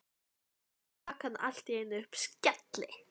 Svo rak hann allt í einu upp skelli